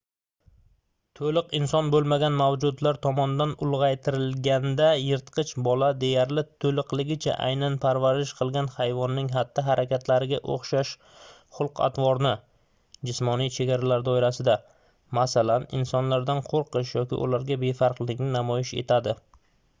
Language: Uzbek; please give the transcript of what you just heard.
to'liq inson bo'lmagan mavjudotlar tomonidan ulg'aytirilganda yirtqich bola deyarli to'liqligicha aynan parvarish qilgan hayvonning xatti-harakatlariga o'xshash xulq-atvorni jismoniy chegaralar doirasida masalan insonlardan qo'rqish yoki ularga befarqlikni namoyish etadi